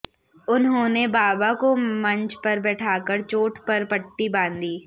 उन्होंने बाबा को मंच पर बैठाकर चोट पर पट्टी बांधी